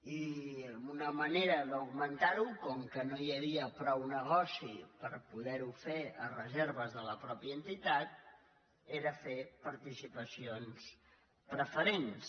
i una ma·nera d’augmentar·lo com que no hi havia prou negoci per poder·ho fer a reserves de la mateixa entitat era fer participacions preferents